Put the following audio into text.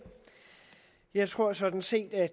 jeg tror sådan set at